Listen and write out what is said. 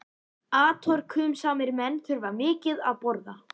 Atorkusamir menn þurfa mikið að borða.